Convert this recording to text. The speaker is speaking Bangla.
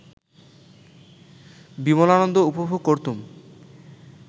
বিমলানন্দ উপভোগ করতুম